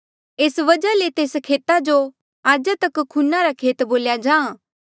एस वजहा ले तेस खेता जो आजा तक खूना रा खेत बोल्या जाहाँ